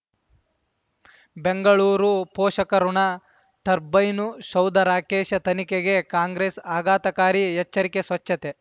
ಬೆಂಗಳೂರು ಪೋಷಕರಋಣ ಟರ್ಬೈನು ಶೌಧ ರಾಕೇಶ್ ತನಿಖೆಗೆ ಕಾಂಗ್ರೆಸ್ ಆಘಾತಕಾರಿ ಎಚ್ಚರಿಕೆ ಸ್ವಚ್ಛತೆ